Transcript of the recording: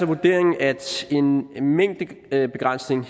vurderingen altså at en mængdebegrænsning